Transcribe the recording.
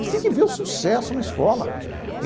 Você tem que ver o sucesso na escola.